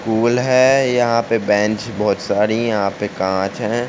School है। यहा पे बेंच बहोत सारी। यहा पे काँच है।